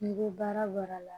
N'i ko baara baara la